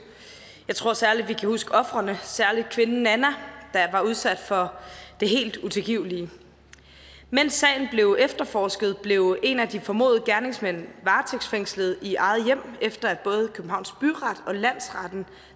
jeg tror særlig vi kan huske ofrene særlig kvinden nanna der var udsat for det helt utilgivelige mens sagen blev efterforsket blev en af de formodede gerningsmænd varetægtsfængslet i eget hjem efter at både københavns byret og landsretten